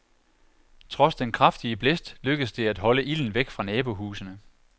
Trods den kraftige blæst lykkedes det at holde ilden væk fra nabohusene.